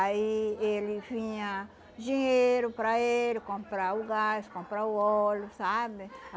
Aí ele vinha dinheiro para ele comprar o gás, comprar o óleo, sabe?